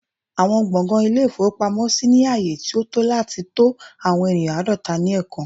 Awọn gbọngàn Ilé-ìfowópamọ́sí ni aaye ti o to lati ni to awọn eniyan aadọta ni ẹẹkan